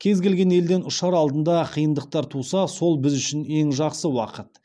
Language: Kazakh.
кез келген елден ұшар алдында қиындықтар туса сол біз үшін ең жақсы уақыт